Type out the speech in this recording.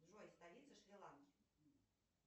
джой столица шри ланки